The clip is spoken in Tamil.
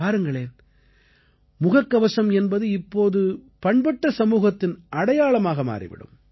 பாருங்களேன் முகக்கவசம் என்பது இப்போது பண்பட்ட சமூகத்தின் அடையாளமாக மாறி விடும்